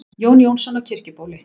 Jón Jónsson á Kirkjubóli